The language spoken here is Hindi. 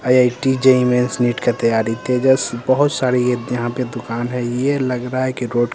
आइ_आइ_टी जे_इ_इ मेंस नीट का तैयारी तेजस बहुत सारे ये यहाँ पे दुकान है ये लग रहा है कि रोड --